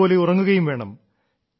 നല്ലതുപോലെ ഉറങ്ങുകയും വേണം